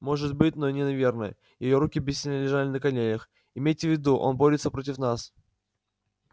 может быть но не наверное её руки бессильно лежали на коленях имейте в виду он борется против нас